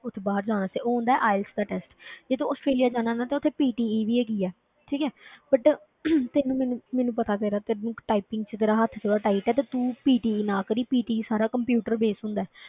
ਉੱਥੇ ਬਾਹਰ ਜਾਣ ਤੇ ਉਹ ਹੁੰਦਾ ਹੈ IELTS ਦਾ test ਜੇ ਤੂੰ ਆਸਟ੍ਰੇਲੀਆ ਜਾਣਾ ਨਾ ਤੇ ਉੱਥੇ PTE ਵੀ ਹੈਗੀ ਹੈ, ਠੀਕ ਹੈ but ਤੈਨੂੰ ਮੈਨੂੰ, ਮੈਨੂੰ ਪਤਾ ਤੇਰਾ ਤੈਨੂੰ typing ਵਿੱਚ ਤੇਰਾ ਹੱਥ ਥੋੜ੍ਹਾ tight ਹੈ ਤੇ ਤੂੰ PTE ਨਾ ਕਰੀਂ PTE ਸਾਰਾ computer base ਹੁੰਦਾ ਹੈ।